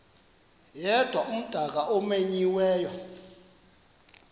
yedwa umdaka omenyiweyo